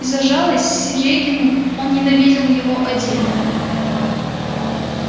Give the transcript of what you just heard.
и за жалость серёгину он ненавидел его отдельно